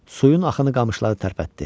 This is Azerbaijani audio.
Suyun axını qamışları tərpətdi.